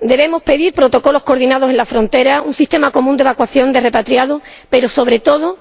Debemos pedir protocolos coordinados en la frontera, un sistema común de evacuación de repatriados, pero, sobre todo,